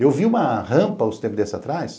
Eu vi uma rampa há uns tempos desses atrás,